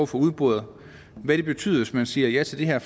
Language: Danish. få udboret hvad det betyder hvis man siger ja til det her